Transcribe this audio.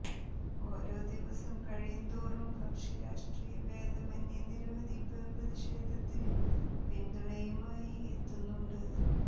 ഓരോ ദിവസം കഴിയുന്തോറും കക്ഷി രഷ്ട്രീയ ഭേദമന്യേ നിരവധി പേർ പ്രതിഷേധത്തിന് പിന്തുണയുമായി എത്തുന്നുണ്ട്